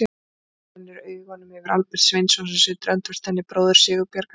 Hún rennir augunum yfir á Albert Sveinsson sem situr öndvert henni, bróður Sigurbjargar.